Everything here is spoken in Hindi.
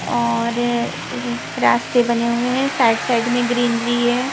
और रास्ते बने हुए हैं साइड साइड में ग्रीनरी है.